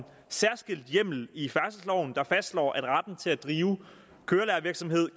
særskilt hjemmel i færdselsloven der fastslår at retten til at drive kørelærervirksomhed